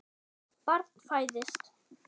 Barn fæðist.